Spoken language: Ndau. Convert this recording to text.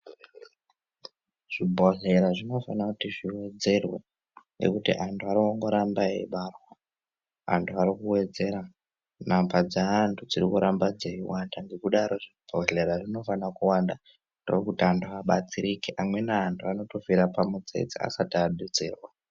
Zvibhodhlera zvinofana kuti zviwedzerwe ngekuti anhu ari kungoramba eibairwa, antu ari kuwedzera. Namba dzeantu dziri kuramba dzeiwanda ngekudaro zvibhodhera zvinofana kuwanda ndokuti antu abatsirike . Amweni anhu anotofira pamutsetse, asati abetserwa.